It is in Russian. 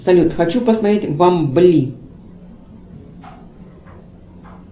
салют хочу посмотреть бамбли